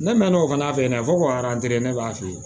Ne mɛn'o fana fɛ ne ko ne b'a fɛ yen